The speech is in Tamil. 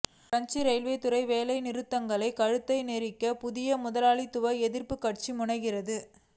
பிரெஞ்சு இரயில்துறை வேலைநிறுத்தங்களின் கழுத்தை நெரிக்க புதிய முதலாளித்துவ எதிர்ப்புக் கட்சி முனைகிறது